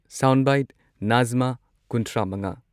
sound ꯕꯥꯏꯠ ꯅꯥꯖꯃꯥ ꯀꯨꯟꯊ꯭ꯔꯥ ꯃꯉꯥ